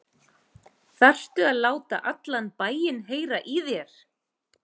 ÞARFTU AÐ LÁTA ALLAN BÆINN HEYRA Í ÞÉR!